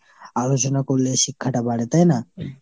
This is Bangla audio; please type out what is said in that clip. আলোচনা করলে শিক্ষাটা বাড়ে তাই না ?